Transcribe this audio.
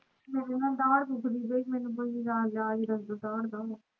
ਮੇਰੀ ਨਾ ਦਾੜ ਦੁੱਖ ਦੀ ਪਾਈ ਮੈਨੂੰ ਕੋਈ ਇਲਾਜ ਦਾੜ ਦਾ